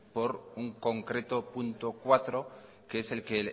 por un concreto punto cuatro que es el que